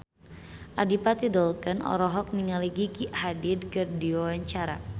Adipati Dolken olohok ningali Gigi Hadid keur diwawancara